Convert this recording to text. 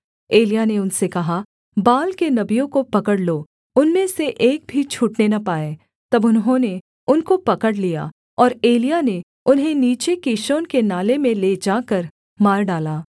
एलिय्याह ने उनसे कहा बाल के नबियों को पकड़ लो उनमें से एक भी छूटने न पाए तब उन्होंने उनको पकड़ लिया और एलिय्याह ने उन्हें नीचे कीशोन के नाले में ले जाकर मार डाला